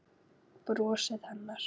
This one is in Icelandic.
Brosið hennar.